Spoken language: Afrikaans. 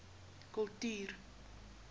kultuur